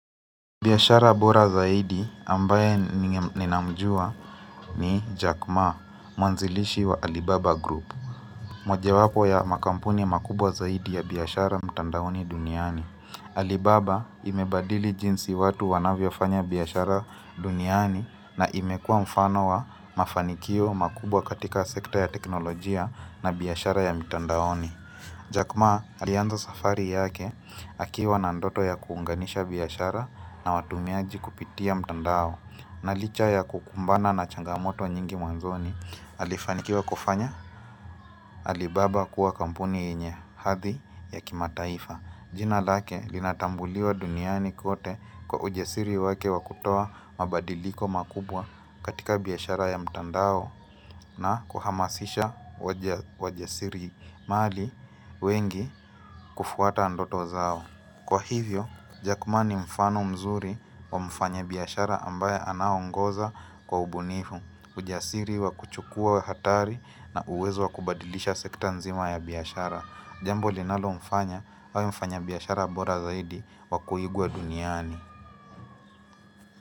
Biashara bora zaidi ambaye ninamjua ni Jack ma, mwanzilishi wa Alibaba group. Moje wapo ya makampuni makubwa zaidi ya biashara mtandaoni duniani. Alibaba imebadili jinsi watu wanavyofanya biashara duniani na imekua mfano wa mafanikio makubwa katika sekta ya teknolojia na biashara ya mtandaoni. Jack ma alianza safari yake akiwa na ndoto ya kuunganisha biashara na watumiaji kupitia mtandao. Na licha ya kukumbana na changamoto nyingi mwanzoni alifanikiwa kufanya Alibaba kuwa kampuni yenye hadhi ya kimataifa jina lake linatambuliwa duniani kote kwa ujasiri wake wa kutoa mabadiliko makubwa katika biashara ya mtandao na kuhamasisha wajasirimali wengi kufuata ndoto zao. Kwa hivyo, Jack ma ni mfano mzuri wa mfanya biashara ambaye anaongoza kwa ubunifu. Ujasiri wa kuchukua hatari na uwezo wa kubadilisha sekta nzima ya biashara. Jambo linalomfanya awe mfanya biashara bora zaidi wa kuigwa duniani.